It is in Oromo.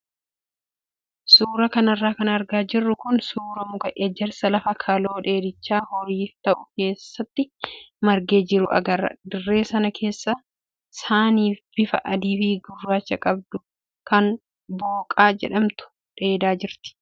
Suuraa kanarra kan argaa jirru kun suuraa muka ejersaa lafa kaloo dheedicha horiif ta'u keessatti margee jiru agarra. Dirree sana keessa saani bifa adii fi gurraacha qabdu kan booqaa jedhamtu dheedaa jirti.